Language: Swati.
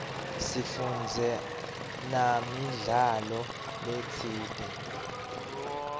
sifundze namidlalo letsite